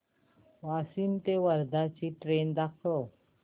वाशिम ते वर्धा ची ट्रेन दाखव